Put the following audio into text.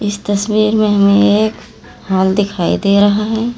इस तस्वीर में हमें एक हाॅल दिखाई दे रहा है।